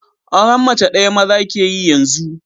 Auren mace ɗaya maza ke yi yanzu